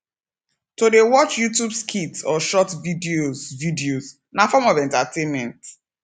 to de watch youtube skits or short videos videos na form of entertainment